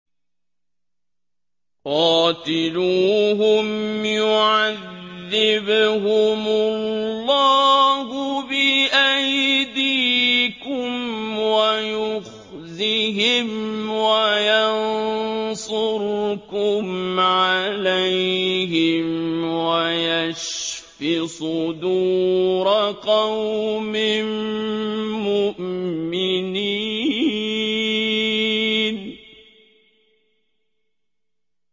قَاتِلُوهُمْ يُعَذِّبْهُمُ اللَّهُ بِأَيْدِيكُمْ وَيُخْزِهِمْ وَيَنصُرْكُمْ عَلَيْهِمْ وَيَشْفِ صُدُورَ قَوْمٍ مُّؤْمِنِينَ